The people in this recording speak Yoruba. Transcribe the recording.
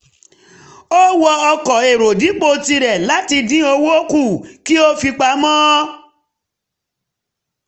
ó wọ ọkọ̀ èrò dipo tirẹ̀ um láti dín owó kù um kí ó fi pamọ́